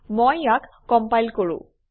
মই ইয়াক কমপাইল কৰোঁ